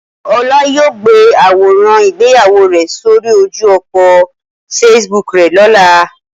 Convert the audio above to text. Ola yoo gbe aworan igbeyawo re sori oju opo Facebook re lola.